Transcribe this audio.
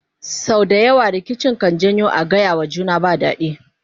sau da yawa rikici kan janyo a gayawa juna ba daɗi